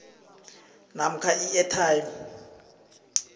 namkha i atm